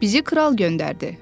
“Bizi kral göndərdi.